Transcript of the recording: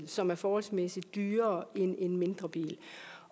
som er forholdsmæssigt dyrere end en mindre bil